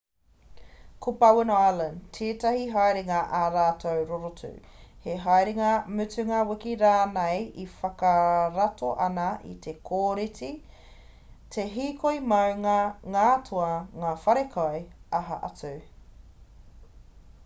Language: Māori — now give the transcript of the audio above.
ko bowen island tētahi haerenga ā-rā rorotu he haerenga mutunga wiki rānei e whakarato ana i te kōreti te hīkoi maunga ngā toa ngā whare kai aha atu